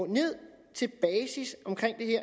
ned til basis